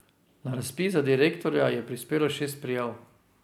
Na razpis za direktorja je prispelo šest prijav.